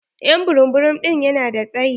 Ƴ'an burum burum ɗin ya na da tsayi.